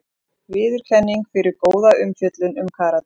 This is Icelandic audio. Viðurkenning fyrir góða umfjöllun um karate